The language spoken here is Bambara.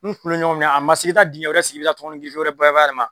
ɲɔgɔn minɛn a man se k'i ka taa dingɛ wɛrɛ sigi i bi taa tɔnkɔnɔ girife wɛrɛ bayɛlɛma.